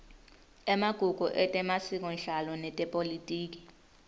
emagugu etemasikonhlalo netepolitiki